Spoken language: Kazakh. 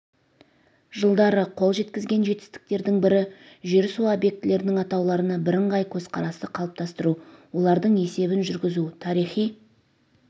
жылдары қол жеткізген жетістіктердің бірі жер-су объектілернің атауларына бірыңғай көзқарасты қалыптастыру олардың есебін жүргізу тарихи